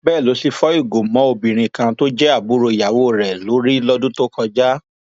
bẹẹ ló sì fọ ìgò mọ obìnrin kan tó jẹ àbúrò ìyàwó rẹ lórí lọdún tó kọjá